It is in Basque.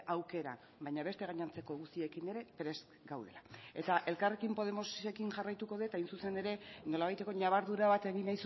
aukera baina beste gainontzeko guztiekin ere prest gaudela eta elkarrekin podemosekin jarraituko dut hain zuzen ere nolabaiteko ñabardura bat egin